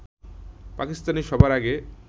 পাকিস্তানই সবার আগে